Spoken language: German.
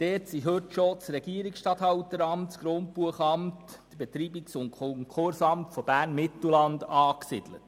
Dort sind heute schon das Regierungsstatthalteramt, das Grundbuchamt und das Betreibungs- und Konkursamt Bern-Mittelland angesiedelt.